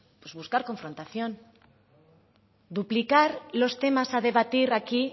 pues buscar confrontación duplicar los temas a debatir aquí